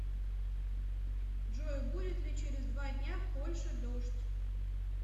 джой будет ли через два дня в польше дождь